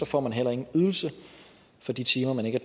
får man heller ingen ydelse for de timer man ikke